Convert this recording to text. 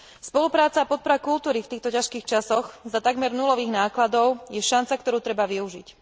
Spolupráca a podpora kultúry v týchto ťažkých časoch pri takmer nulových nákladoch je šanca, ktorú treba využiť.